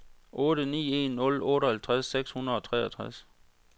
otte ni en nul otteoghalvtreds seks hundrede og treogtres